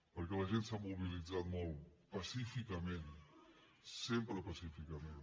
perquè la gent s’ha mobilitzat molt pacíficament sempre pacíficament